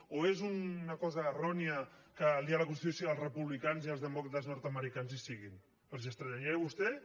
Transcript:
o és una cosa errònia que el dia de la constitució els republicans i els demòcrates nordamericans hi siguin els estranyaria a vostès